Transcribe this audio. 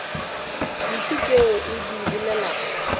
dife tšeo o di bolelago